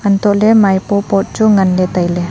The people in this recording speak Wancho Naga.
hantoh ley maipo pot chu ngan ley tai ley.